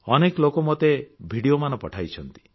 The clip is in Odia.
ଅନେକ ଲୋକ ମୋତେ ଭିଡିଓ ମାନ ପଠାଇଛନ୍ତି